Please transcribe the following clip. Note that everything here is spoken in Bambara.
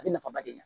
A bɛ nafaba de ɲɛ